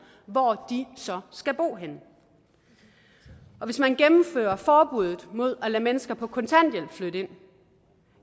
så skal bo henne og hvis man gennemfører forbuddet mod at lade mennesker på kontanthjælp flytte ind